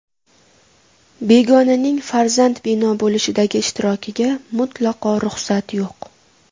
Begonaning farzand bino bo‘lishidagi ishtirokiga mutlaqo ruxsat yo‘q.